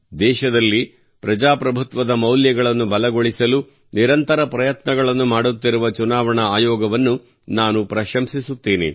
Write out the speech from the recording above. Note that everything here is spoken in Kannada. ದೇಶದಲ್ಲಿ ಪ್ರಜಾಪ್ರಭುತ್ವದ ಮೌಲ್ಯಗಳನ್ನು ಬಲಗೊಳಿಸಲು ನಿರಂತರ ಪ್ರಯತ್ನಗಳನ್ನು ಮಾಡುತ್ತಿರುವ ಚುನಾವಣಾ ಆಯೋಗವನ್ನು ನಾನು ಪ್ರಶಂಸಿಸುತ್ತೇನೆ